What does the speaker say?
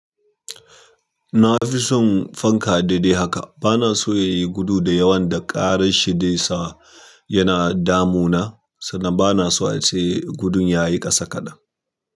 Na fi son fanka daidai haka. Bana so ya yi gudu da yawan da ƙarin shi zai sa yana damu na, sannan bana so a ce gudun ya yi ƙasa kaɗan.